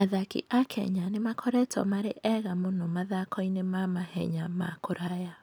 Athaki a Kenya nĩ makoretwo marĩ ega mũno mathako-inĩ ma mahenya ma kũraya.